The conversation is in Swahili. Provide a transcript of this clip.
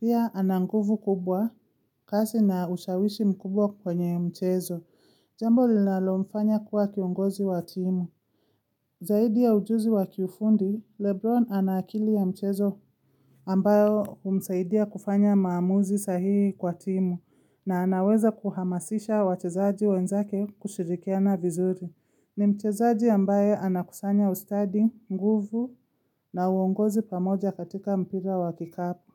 Pia ana nguvu kubwa, kasi na ushawishi mkubwa kwenye mchezo. Jambo linalomfanya kuwa kiongozi wa timu. Zaidi ya ujuzi wa kifundi, Lebron ana akili ya mchezo. Ambayo humsaidia kufanya maamuzi sahihi kwa timu na anaweza kuhamasisha wachezaji wenzake kushirikiana vizuri. Ni mchezaji ambaye anakusanya ustadi, nguvu na uongozi pamoja katika mpira wa kikapu.